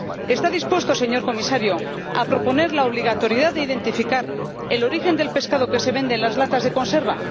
¿Está dispuesto, señor Comisario, a proponer la obligatoriedad de especificar el origen del pescado que se vende en latas de conserva?